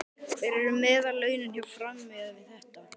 Hver eru meðallaunin hjá Fram miðað við þetta?